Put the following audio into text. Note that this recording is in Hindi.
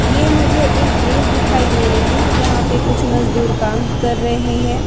यह मुझे एक ब्रिज दिखाई दे रही है जहां पर कुछ मजदूर काम कर रहे हैं।